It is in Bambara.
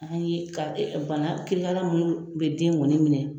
An ye ka bana kirikara minnu bɛ den kɔni minɛ.